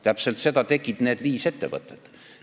Täpselt seda tegid need viis ettevõtet.